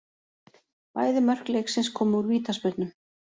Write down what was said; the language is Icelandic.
Bæði mörk leiksins komu úr vítaspyrnum